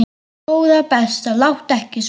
Góða besta láttu ekki svona!